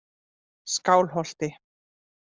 Skálholti